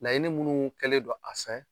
Laɲini minnu kɛlen don a fɛ